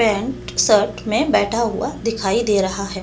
Pant shirt में बैठा हुआ दिखाई दे रहा है दूसरे।